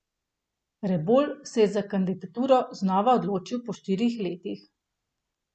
Rebolj se je za kandidaturo znova odločil po štirih letih.